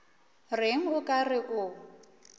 reng o ka re o